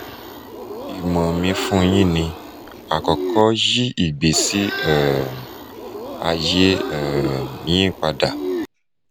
imo mi fun yin ni: akọkọ yi igbesi um aye um yin pada